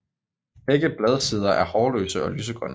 Begge bladsider er hårløse og lysegrønne